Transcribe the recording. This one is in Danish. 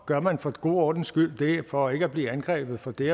gør man for god ordens skyld det for ikke at blive angrebet for det